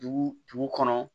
Dugu dugu kɔnɔ